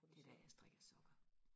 det er der jeg strikker sokker